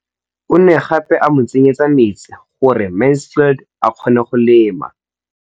O ne gape a mo tsenyetsa metsi gore Mansfield a kgone go lema.